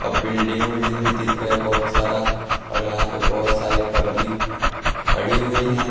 अ building उल्डिंग भी दिख रहा है बहोत सारा और यहां पे बहोत सारी पब्लिक खड़ी हुई है।